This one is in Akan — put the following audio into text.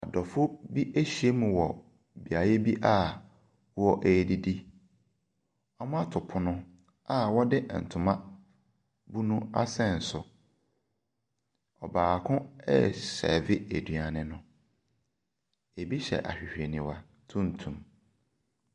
Adɔfoɔ bi ahyiam wɔ beaeɛ bi a wɔredidi. Wɔato pono a wɔde ntoma bunu asɛn so. Ɔbaako resɛɛvɛ aduane no. ebi hyɛ ahwehwɛniwa tuntum.